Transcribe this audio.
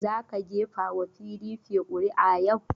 Za ka gefa wa PDP ƙuri'a yau!